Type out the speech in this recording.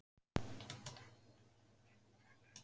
Erla: Og börnin eru þá alveg heilbrigð í flestum tilfellum?